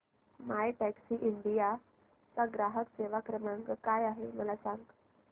My Taxi India चा ग्राहक सेवा क्रमांक काय आहे मला सांग